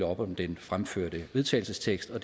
op om den fremførte vedtagelsestekst og